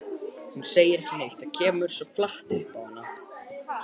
Hún segir ekki neitt, þetta kemur svo flatt upp á hana.